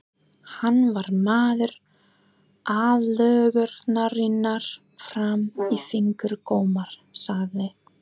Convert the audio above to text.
Hann var maður aðlögunarinnar fram í fingurgóma, sagði